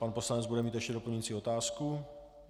Pan poslanec bude mít ještě doplňující otázku.